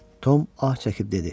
Tom ah çəkib dedi.